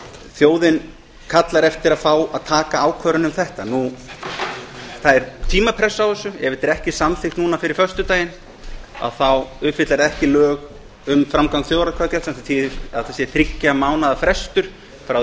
þjóðin kallar eftir að fá að taka ákvörðun um þetta það er tímapressa á þessu ef þetta er ekki samþykkt núna fyrir föstudaginn uppfyllir það ekki lög um framgang þjóðaratkvæðagreiðslna sem þýðir að þetta sé þriggja mánaða frestur frá því